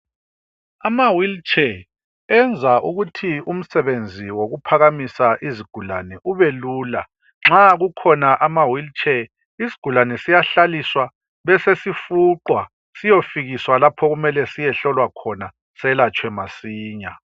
Amawheelchair enza ukuthi umsebenzi wokuphakamisa izigulane ubelula. Nxa kukhona amawheelchair isigulane siyahlaliswa besesifuqwa siyefika lapho okumele siyehlolwa khona selatshwe masinya.